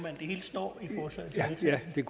det er